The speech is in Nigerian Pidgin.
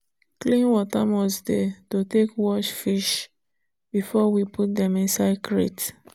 clean water must dey to take wash fish before we put dem inside crate.